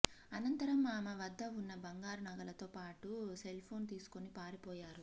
అనంతరం ఆమె వద్ద ఉన్న బంగారు నగలతో పాటు సెల్ఫోన్ తీసుకొని పారిపోయారు